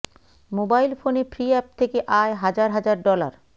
mobile ফোনে free app থেকে আয় হাজার হাজার ডলার